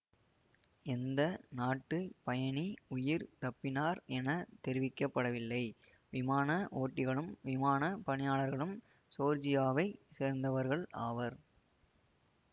எந்த நாட்டுப் பயணி உயிர் தப்பினார் என தெரிவிக்க படவில்லை விமான ஓட்டிகளும் விமான பணியாளர்களும் ஜோர்ஜியாவைச் சேர்ந்தவர்கள் ஆவர்